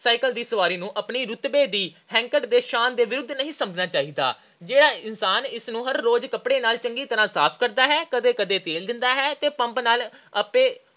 Cycle ਦੀ ਸਵਾਰੀ ਨੂੰ ਆਪਣੀ ਰੁਤਬੇ ਦੀ ਹੈਂਕੜ ਤੇ ਸ਼ਾਨ ਦੇ ਵਿਰੁੱਧ ਨਹੀਂ ਸਮਝਣਾ ਚਾਹੀਦਾ। ਜਿਹੜਾ ਵਿਅਕਤੀ ਇਸ ਨੂੰ ਹਰ ਰੋਜ਼ ਕੱਪੜੇ ਨਾਲ ਚੰਗੀ ਤਰ੍ਹਾਂ ਸਾਫ਼ ਕਰਦਾ ਹੈ, ਕਦੇ – ਕਦੇ ਤੇਲ ਦਿੰਦਾ ਹੈ ਤੇ ਪੰਪ ਨਾਲ ਆਪੇ